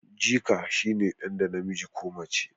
jika shi ne dan da namiji ko mace